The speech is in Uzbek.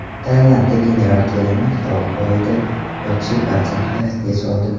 Tailandda general kelinning qirol poyida yotishi barchani hayratga soldi .